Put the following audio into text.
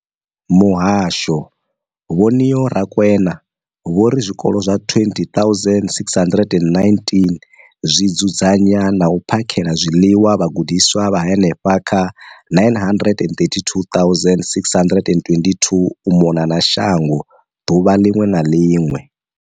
Muhasho, Vho Neo Rakwena, vho ri zwikolo zwa 20 619 zwi dzudzanya na u phakhela zwiḽiwa vhagudiswa vha henefha kha 9 032 622 u mona na shango ḓuvha ḽiṅwe na ḽiṅwe.